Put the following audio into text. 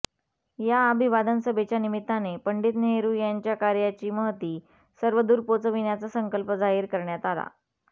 या अभिवादन सभेच्या निमित्ताने पंडित नेहरू यांच्या कार्याची महती सर्वदूर पोचविण्याचा संकल्प जाहीर करण्यात आला